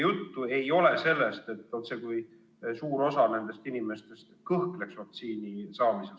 Jutt ju ei ole sellest, et suur osa nendest inimestest kõhkleb vaktsiini saamisel.